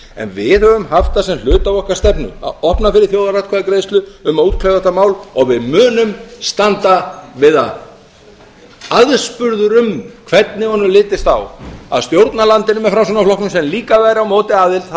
en við höfum haft það sem hluta af okkar stefnu að opna fyrir þjóðaratkvæðagreiðslu um að útkljá þetta mál og við munum standa við það aðspurður um hvernig honum litist á að stjórna landinu með framsóknarflokknum sem líka væri á móti aðild